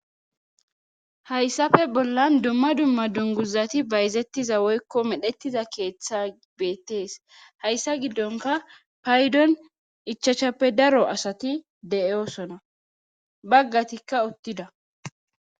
Hayssafe bollan dumma dumma dunguzati bayzettiza woykko medhettiza keeththa beettees hayssa giddonka paydon ichachappe daro asati deyoosona baggatikka uttida